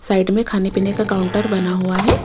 Side में खाने पीने का काउंटर बना हुआ है।